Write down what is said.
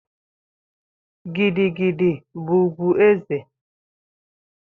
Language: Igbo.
Gidi gidi bu ugwu eze